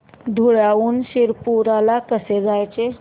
धुळ्याहून शिरपूर ला कसे जायचे